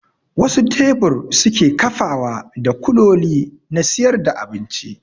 Wasu tebur suke kafawa da kuloli na siyar da abinci